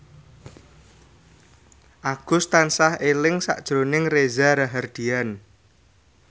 Agus tansah eling sakjroning Reza Rahardian